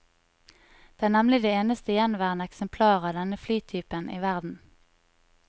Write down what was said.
Det er nemlig det eneste gjenværende eksemplar av denne flytypen i verden.